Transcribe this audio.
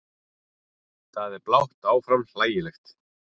Það er blátt áfram hlægilegt.